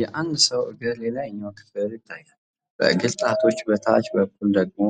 የአንድ ሰው እግር የላይኛው ክፍል ይታያል። ከእግር ጣቶች በታች በኩል ደግሞ